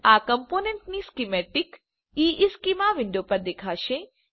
આ કમ્પોનન્ટની સ્કીમેટીક ઇશ્ચેમાં વિન્ડો પર દેખાશે